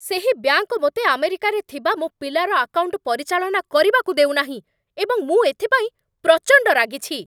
ସେହି ବ୍ୟାଙ୍କ ମୋତେ ଆମେରିକାରେ ଥିବା ମୋ ପିଲାର ଆକାଉଣ୍ଟ ପରିଚାଳନା କରିବାକୁ ଦେଉ ନାହିଁ, ଏବଂ ମୁଁ ଏଥିପାଇଁ ପ୍ରଚଣ୍ଡ ରାଗିଛି।